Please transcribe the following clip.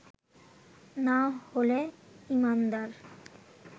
না হলে ঈমানদার